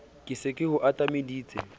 ke se ke o atameditse